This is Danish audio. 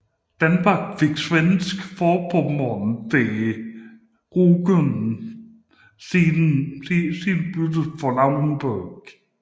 Danmark fik Svensk Forpommern med Rügen siden byttet for Lauenburg